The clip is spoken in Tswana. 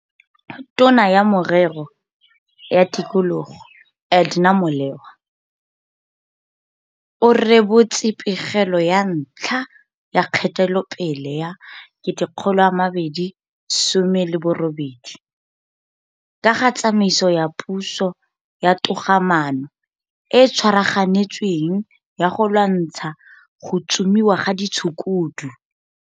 tona ya Merero ya Tikologo, Edna Mole wa o rebotse pegelo ya ntlha ya kgatelopele ya 2018 ka ga tsamaiso ya puso ya togamaano e e tswaraganetsweng ya go lwantsha go tsomiwa ga ditshukudu.